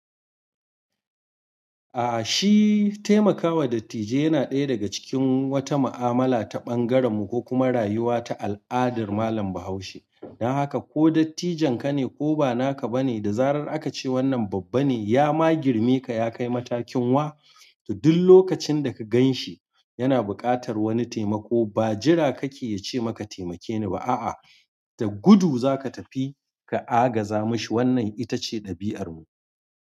A shi taimakawa dattijai yana ɗaya daga cikin wata ma'amala ta ɓangarenmu ko kuma rayuwa ta al'adar malam Bahaushe. Don haka ko dattijonka ne, ko ba naka ba ne, da zarar aka ce wannan babba ne ya ma girme ka ya kai matakin wa, to duk lokacin da ka gan shi yana buƙatar wani taimako ba jira kake ya ce ma ka taimake ni ba. A'a da gudu za ka tafi ka a gaza mishi. Wannan ita ce ɗabi'armu.